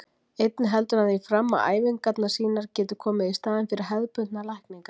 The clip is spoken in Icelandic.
Einnig heldur hann því fram að æfingarnar sínar geti komið í staðinn fyrir hefðbundnar lækningar.